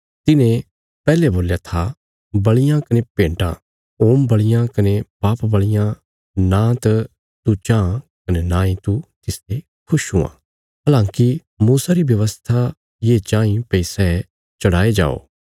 तिने पैहले बोल्या था बल़ियां कने भेन्टां होम बल़ियां कने पाप बल़ियां नांत तू चाँह कने नांई तू तिसते खुश हुआं हलांकि मूसा री व्यवस्था ये चाँई भई सै चढ़ाये जायें